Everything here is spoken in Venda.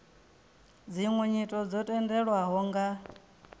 dziṅwe nyito dzo tendelwaho nga